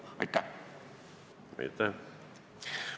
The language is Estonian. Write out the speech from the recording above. Aitäh!